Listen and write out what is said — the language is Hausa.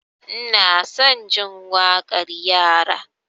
Ina son jin waƙar yara.